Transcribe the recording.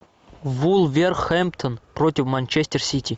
вулверхэмптон против манчестер сити